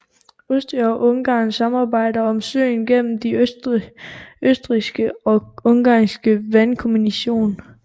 Østrig og Ungarn samarbejder om søen gennem den østrigske og ungarske vandkommission